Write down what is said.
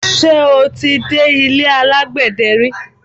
Ṣé o ti dé ilé alágbẹ̀dẹ ri?